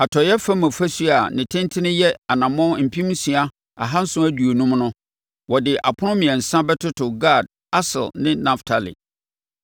Atɔeɛ fam ɔfasuo a ne tentene yɛ anammɔn mpem nsia ahanson aduonum (6,750) no, wɔde apono mmiɛnsa bɛtoto Gad, Aser ne Naftali.